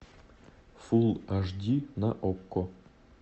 фулл аш ди на окко